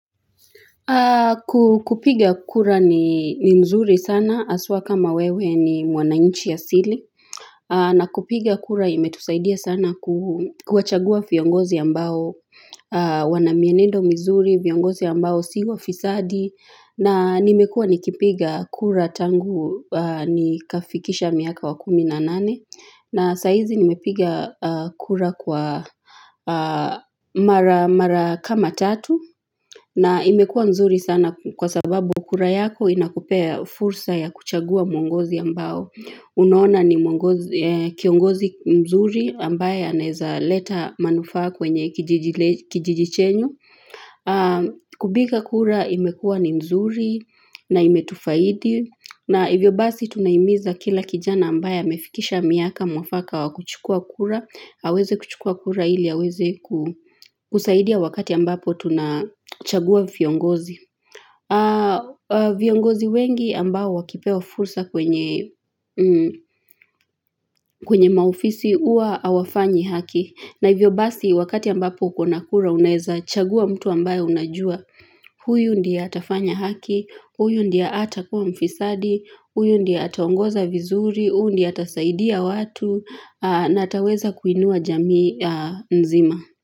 Kupiga kura ni mzuri sana aswa kama wewe ni mwananchi asili na kupiga kura imetusaidia sana kuwachagua viongozi ambao wanamienendo mzuri viongozi ambao si wafisadi na nimekua nikipiga kura tangu ni kafikisha miaka wa kuminanane na saizi nimepiga kura kwa mara kama tatu na imekua mzuri sana kwa sababu kura yako inakupea fursa ya kuchagua mwongozi ambao. Unaona ni kiongozi mzuri ambaye aneza leta manufa kwenye kijiji chenyu. Kubipa kura imekua ni mzuri na imetufaidi. Na hivyo basi tunaimiza kila kijana ambaye amefikisha miaka mwafaka wa kuchukua kura. Aweze kuchukua kuraili, aweze kusaidia wakati ambapo tunachagua viongozi viongozi wengi ambao wakipewa fursa kwenye maofisi uwa awafanyi haki na hivyo basi wakati ambapo ukona kura uneza chagua mtu ambayo unajua huyu ndia atafanya haki, huyu ndiea ata kuwa mfisadi, huyu ndia ataongoza vizuri, huyu ndia atasaidia watu na ataweza kuinua jamii nzima.